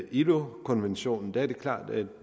ilo konventionen er det klart at vi